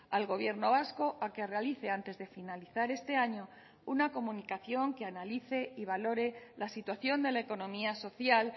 al gobierno vasco a que realice antes de finalizar este año una comunicación que analice y valore la situación de la economía social